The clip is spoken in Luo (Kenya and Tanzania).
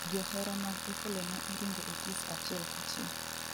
Johera mag Opollo ne oringo Otis achiel kachiel